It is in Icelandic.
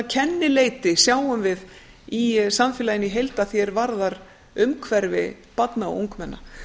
kennileiti sjáum við í samfélaginu í heild að því er varðar umhverfi barna og ungmenna